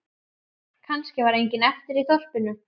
Kannski var enginn eftir í þorpinu.